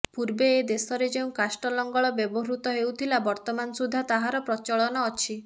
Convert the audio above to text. ପୂର୍ବେ ଏ ଦେଶରେ ଯେଉଁ କାଷ୍ଠଲଙ୍ଗଳ ବ୍ୟବହୃତ ହେଉଥିଲା ବର୍ତ୍ତମାନ ସୁଦ୍ଧା ତାହାର ପ୍ରଚଳନ ଅଛି